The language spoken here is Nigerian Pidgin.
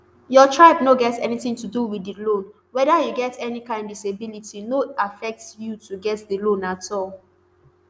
your tribe no get anytin to do wit di loan weda you get any kain disability no affect you to get di loan at all